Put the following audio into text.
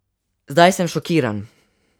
Zdaj sem šokiran.